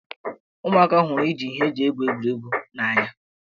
Ụmụaka hụrụ iji ihe eji egwuregwu egwuri egwu n'anya.